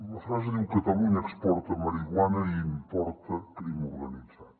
la frase diu catalunya exporta marihuana i importa crim organitzat